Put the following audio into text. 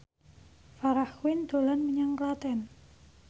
Farah Quinn dolan menyang Klaten